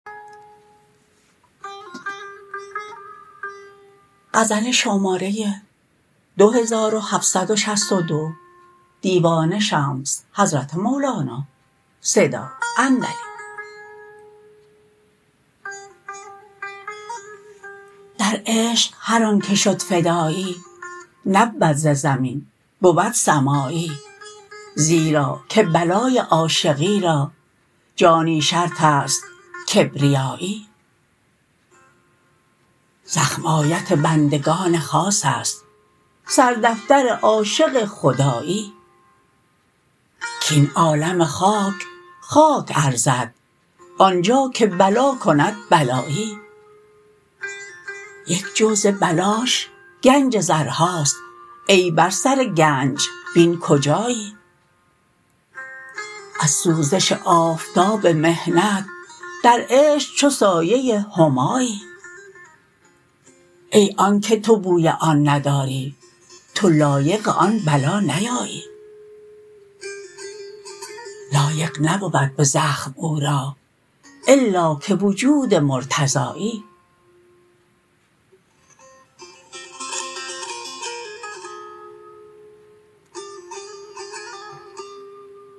در عشق هر آنک شد فدایی نبود ز زمین بود سمایی زیرا که بلای عاشقی را جانی شرط است کبریایی زخم آیت بندگان خاص است سردفتر عاشق خدایی کاین عالم خاک خاک ارزد آن جا که بلا کند بلایی یک جو ز بلاش گنج زرهاست ای بر سر گنج بین کجایی از سوزش آفتاب محنت در عشق چو سایه همایی ای آنک تو بوی آن نداری تو لایق آن بلا نیایی لایق نبود به زخم او را الا که وجود مرتضایی